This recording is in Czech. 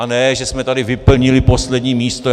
A ne že jsme tady vyplnili poslední místo.